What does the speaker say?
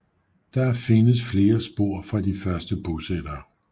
Der findes flere spor fra de første bosættere